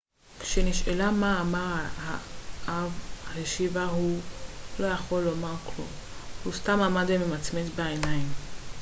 כשנשאלה מה אמר האב השיבה הוא לא היה יכול לומר כלום הוא סתם עמד ומצמץ בעיניים